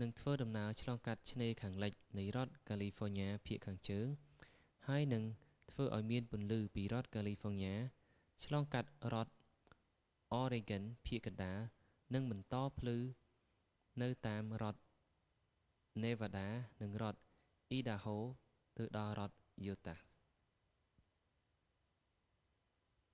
នឹងធ្វើដំណើរឆ្លងកាត់ឆ្នេរខាងលិចនៃរដ្ឋកាលីហ្វ័រញ៉ាភាគខាងជើង ហើយនឹងធ្វើឱ្យមានពន្លឺពីរដ្ឋកាលីហ្វ័រញ៉ា ឆ្លងកាត់រដ្ឋអរ៉េហ្គិនភាគកណ្ដាល និងបន្តភ្លឺនៅតាមរដ្ឋនេវ៉ាដា និងរដ្ឋ អ៊ីដាហូ ទៅដល់រដ្ឋយូតាស់